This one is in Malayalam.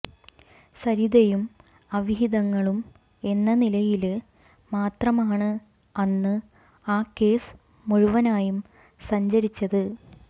സരിതയും അവിഹിതങ്ങളും എന്ന നിലയില് മാത്രമാണ് അന്ന് ആ കേസ് മുഴുവനായും സഞ്ചരിച്ചത്